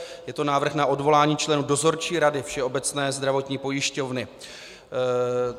Je to návrh na odvolání členů Dozorčí rady Všeobecné zdravotní pojišťovny.